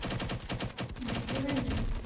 ওদিক দিয়ে বাড়ি যাবি?